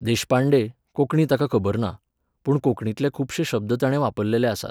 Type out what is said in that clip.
देशपांडे, कोंकणी ताका खबर ना, पूण कोंकणींतले खुबशे शब्द ताणें वापरलेले आसात.